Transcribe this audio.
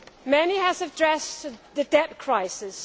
Many have addressed the debt crisis.